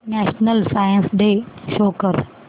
national science day show कर